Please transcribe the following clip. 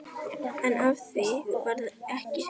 En af því varð ekki.